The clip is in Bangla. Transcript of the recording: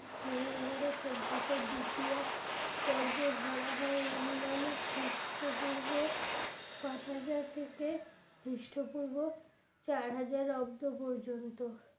মেহেরগড়ে সভ্যতার দ্বিতীয় পর্য ধরা হয় অনুমানিক খ্রিষ্টপূর্ব পাঁচ হাজার থেকে খ্রিস্টপূর্ব চার হাজার অব্দ পর্যন্ত